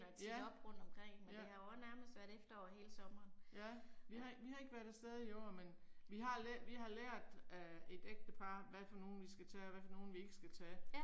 Ja, ja. Ja vi har vi har ikke været afsted i år men vi har vi har lært af et ægtepar hvad for nogle vi skal tage og hvad for nogle vi ikke skal tage